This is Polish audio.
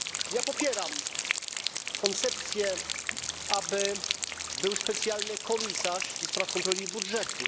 Ja popieram koncepcję, aby był specjalny komisarz do spraw kontroli budżetu.